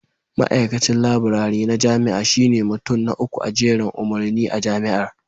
Ma'aikacin Laburare na jami'a shine mutum na uku a jerin umarni a Jami'ar